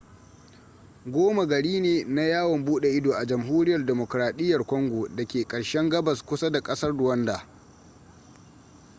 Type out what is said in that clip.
goma gari ne na yawon bude ido a jamhuriyar demokradiyyar congo da ke ƙarshen gabas kusa da ƙasar rwanda